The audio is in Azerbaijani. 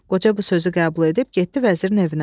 Qoca bu sözü qəbul edib getdi vəzirin evinə.